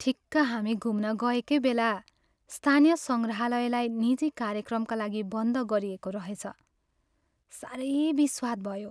ठिक्क हामी घुम्न गएकै बेला स्थानीय सङ्ग्रहालयलाई निजी कार्यक्रमका लागि बन्द गरिएको रहेछ। साह्रै बिस्वाद भयो!